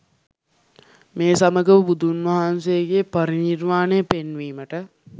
මේ සමගම බුදුන් වහන්සේගේ පරිනිර්වානය පෙන්වීමට